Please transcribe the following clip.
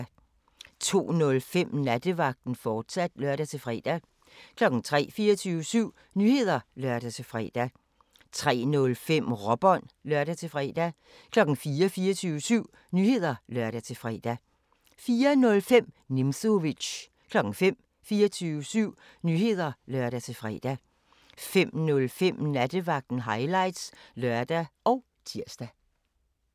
02:05: Nattevagten, fortsat (lør-fre) 03:00: 24syv Nyheder (lør-fre) 03:05: Råbånd (lør-fre) 04:00: 24syv Nyheder (lør-fre) 04:05: Nimzowitsch 05:00: 24syv Nyheder (lør-fre) 05:05: Nattevagten Highlights (lør og tir)